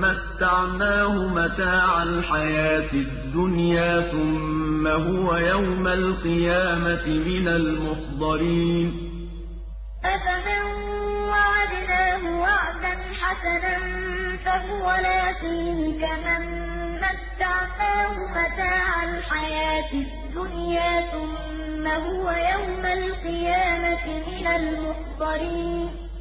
مَّتَّعْنَاهُ مَتَاعَ الْحَيَاةِ الدُّنْيَا ثُمَّ هُوَ يَوْمَ الْقِيَامَةِ مِنَ الْمُحْضَرِينَ أَفَمَن وَعَدْنَاهُ وَعْدًا حَسَنًا فَهُوَ لَاقِيهِ كَمَن مَّتَّعْنَاهُ مَتَاعَ الْحَيَاةِ الدُّنْيَا ثُمَّ هُوَ يَوْمَ الْقِيَامَةِ مِنَ الْمُحْضَرِينَ